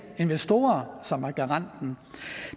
investorer som er garanten